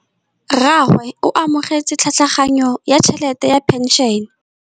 Rragwe o amogetse tlhatlhaganyô ya tšhelête ya phenšene.